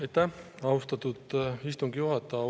Aitäh, austatud istungi juhataja!